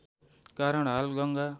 कारण हाल गङ्गा